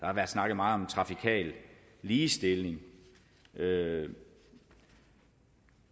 har været snakket meget om trafikal ligestilling og at